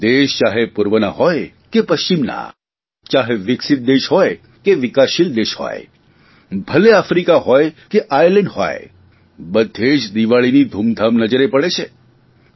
એ દેશ ચાહે પૂર્વના હોય કે પશ્ચિમના ચાહે વિકસિત દેશ હોય કે વિકાસશીલ દેશ હોય ભલે આફ્રિકા હોય કે આયર્લેન્ડ હોય બધ્ધે જ દિવાળીની ધૂમધામ નજરે પડે છે